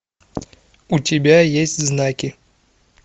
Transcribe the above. у тебя есть знаки